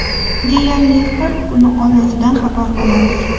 Deyarli, har kuni oilasidan xabar olamiz.